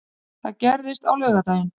Það gerðist á laugardaginn.